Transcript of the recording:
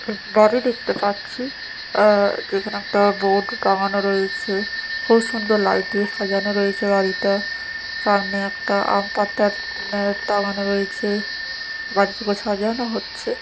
এক বাড়ি দেখতে পাচ্ছি আর এখানে একটা বোর্ড টাঙানো রয়েছে খুব সুন্দর লাইট দিয়ে সাজানো রয়েছে বাড়িটা সামনে একটা আম পাতা উম টাঙানো রয়েছে বাড়িটাকে সাজানো হচ্ছে।